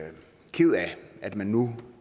ked af at man nu